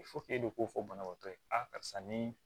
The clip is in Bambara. e de k'o fɔ banabaatɔ ye karisa ni